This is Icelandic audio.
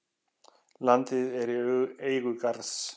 Landið er í eigu Garðs.